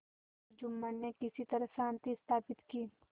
जुम्मन ने किसी तरह शांति स्थापित की